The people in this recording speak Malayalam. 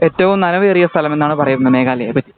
ഏറ്റവും നനവേറിയ സ്ഥലം എന്നാണ് പറയുന്നത് മേഘാലയെ പറ്റി